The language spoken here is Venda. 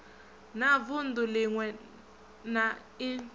na vunḓu ḽiṅwe na i